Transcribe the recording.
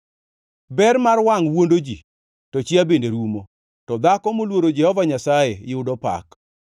Ber mar wangʼ wuondo ji, to chia bende rumo; to dhako moluoro Jehova Nyasaye yudo pak.